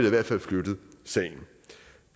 i hvert fald flyttet sagen